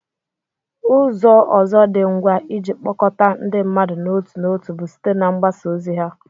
Ụzọ ọzọ dị ngwa iji kpọkọta ndị mmadụ n'otu n'otu bụ site na mgbasa ozi ọha